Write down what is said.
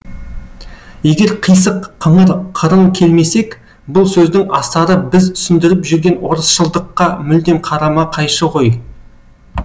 егер қисық қыңыр қырын келмесек бұл сөздің астары біз түсіндіріп жүрген орысшылдыққа мүлдем қарама қайшы ғой